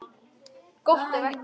Gott ef ekki.